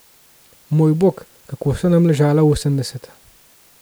Moj bog, kako so nam ležala osemdeseta.